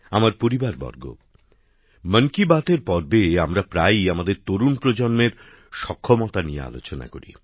আমার পরিবারবর্গ মন কি বাতএর পর্বে আমরা প্রায়ই আমাদের তরুণ প্রজন্মের সক্ষমতা নিয়ে আলোচনা করি